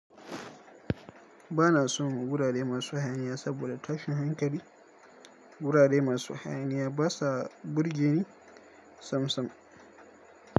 Ba na son wurare masu hayaniya saboda tashin hankali. Wurare masu hayaniya ba sa burgeni samsam.